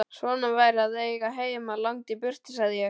Svona væri að eiga heima langt í burtu, sagði ég.